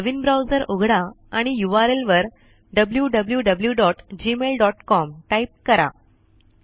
नवीन browser उघडा आणि URL वर wwwgmailcom टाइप करा